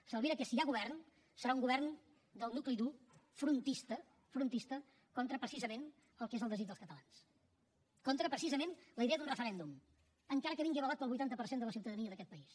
s’albira que si hi ha govern serà un govern del nucli dur frontista frontista contra precisament el que és el desig dels catalans contra precisament la idea d’un referèndum encara que vingui avalat pel vuitanta per cent de la ciutadania d’aquest país